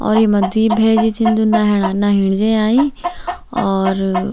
और येमा द्वि भैजी छिन जू नहेणा-नहेण जयाई और --